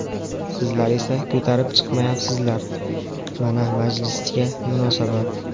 Sizlar esa ko‘tarib chiqmayapsizlar, mana majlisga munosabat.